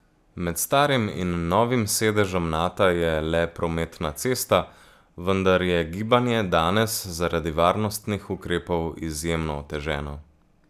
Med starim in novim sedežem Nata je le prometna cesta, vendar je gibanje danes zaradi varnostnih ukrepov izjemno oteženo.